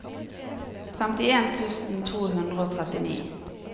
femtien tusen to hundre og trettini